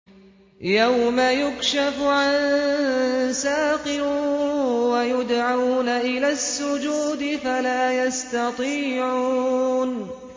يَوْمَ يُكْشَفُ عَن سَاقٍ وَيُدْعَوْنَ إِلَى السُّجُودِ فَلَا يَسْتَطِيعُونَ